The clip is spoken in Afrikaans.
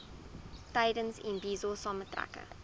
tydens imbizo saamtrekke